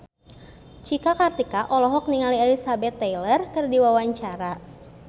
Cika Kartika olohok ningali Elizabeth Taylor keur diwawancara